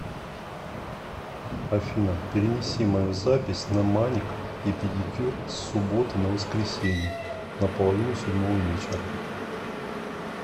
афина перенеси мою запись на маник и педикюр с субботы на воскресенье на половину седьмого вечера